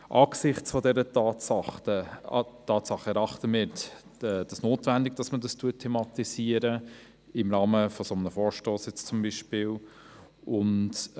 Angesichts dieser Tatsache erachten wir es für notwendig, dieses Problem beispielsweise im Rahmen eines solchen Vorstosses zu thematisieren.